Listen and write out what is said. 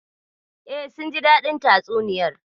E, sun ji daɗin tatsuniyar.